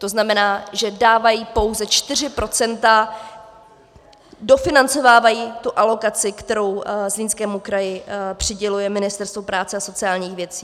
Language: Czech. To znamená, že dávají pouze 4 %, dofinancovávají tu alokaci, kterou Zlínskému kraji přiděluje Ministerstvo práce a sociálních věcí.